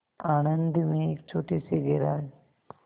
आणंद में एक छोटे से गैराज